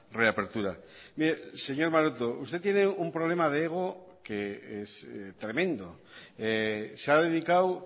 reapertura mire señor maroto usted tiene un problema de ego que es tremendo se ha dedicado